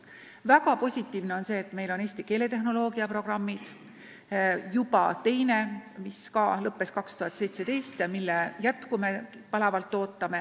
Väga positiivne on see, et meil on eesti keeletehnoloogia programmid, millest juba teine lõppes aastal 2017 ja mille jätku me palavalt ootame.